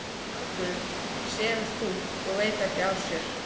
Strákurinn sefur þungt og veit ekki af sér.